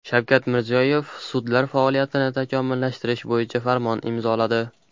Shavkat Mirziyoyev sudlar faoliyatini takomillashtirish bo‘yicha farmon imzoladi.